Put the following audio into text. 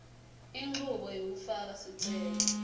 inchubo yekufaka sicelo